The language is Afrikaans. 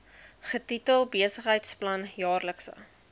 getitel besigheidsplan jaarlikse